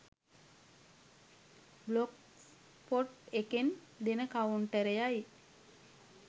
Blogspot එකෙන් දෙන කවුන්ටරයයි.